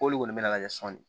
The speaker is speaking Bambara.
K'olu kɔni bɛna lajɛ sɔn de